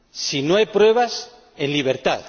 Si no hay pruebas, en libertad.